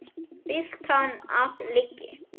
Fyllt hann af lygi.